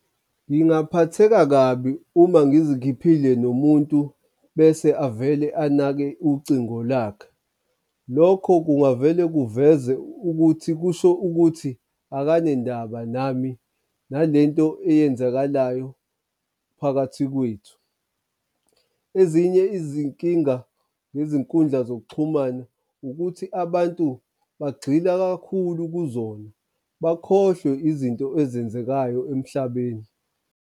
Ngingaphatheka kabi uma ngizikhiphile nomuntu bese avele anake ucingo lakhe. Lokho kungavele kuveze ukuthi kusho ukuthi akanendaba nami nale nto eyenzakalayo phakathi kwethu. Ezinye izinkinga ngezinkundla zokuxhumana ukuthi abantu bagxila kakhulu kuzona bakhohlwe izinto ezenzekayo emhlabeni.